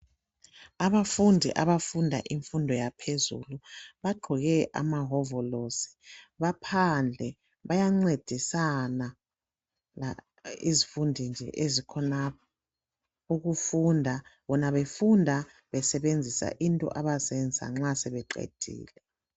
Abafundi abafunda imfundo yaphezulu bagqoke amawovolosi, baphandle bayancedisana izifundi nje ezikhonapha ukufunda, bona befunda besebenzisa into abazenza nxa sebeqedile.